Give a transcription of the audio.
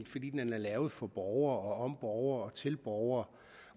fordi den er lavet for borgere om borgere og til borgere